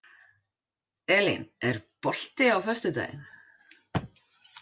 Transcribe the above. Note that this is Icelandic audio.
Elín, er bolti á föstudaginn?